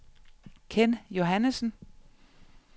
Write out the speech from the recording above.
Ken Johannesen